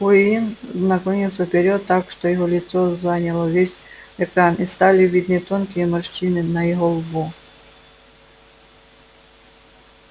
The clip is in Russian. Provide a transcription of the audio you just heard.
куинн наклонился вперёд так что его лицо заняло весь экран и стали видны тонкие морщины на его лбу